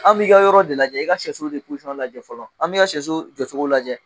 An b'i ka yɔrɔ de lajɛ, i ka sɛsulu de lajɛ fɔlɔ, an bɛ i ka sɛulu jɔcogo lajɛ!